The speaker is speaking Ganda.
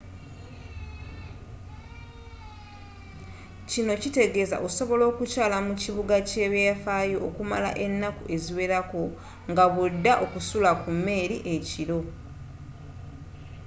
kino kitegeeza osobola okukyaala mu kibuga ky'ebyafaayo okumala ennaku eziwerako nga bw'odda okusula ku mmeeri ekiro